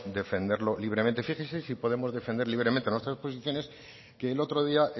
defenderlo libremente fíjese si podemos defender libremente nuestras posiciones que el otro día